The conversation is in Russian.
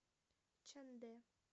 чандэ